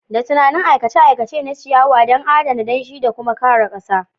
Da tunani aikace-aikace na ciyawa don adana danshi da kuma kare ƙasa.